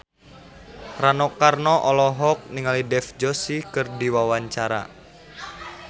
Rano Karno olohok ningali Dev Joshi keur diwawancara